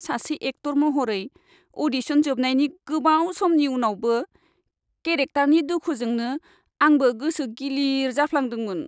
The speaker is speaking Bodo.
सासे एक्टर महरै, अ'डिशन जोबनायनि गोबाव समनि उनावबो केरेक्टारनि दुखुजोंनो आंबो गोसो गिलिर जाफ्लांदोंमोन।